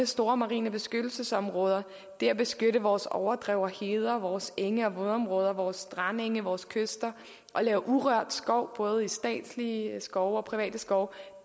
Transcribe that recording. store marine beskyttelsesområder det at beskytte vores overdrev og heder vores enge og vådområder vores strandenge vores kyster og lave urørt skov både i statslige skove og private skove